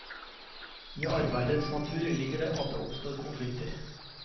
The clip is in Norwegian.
I arbeidets natur ligger det at det oppstår konflikter.